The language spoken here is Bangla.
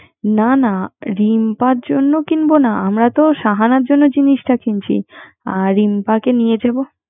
না না রিম্পার জন্য কিনবো নাআমরা তো শাহার জন্য জিনিস কিনছি আর রিম্পাকে নিয়ে যাবো